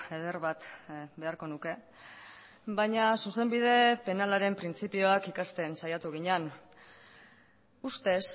eder bat beharko nuke baina zuzenbide penalaren printzipioak ikasten saiatu ginen ustez